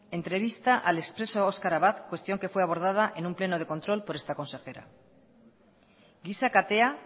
entrevista al expreso oskar abad cuestión que fue abordada en un pleno de control por esta consejera giza katea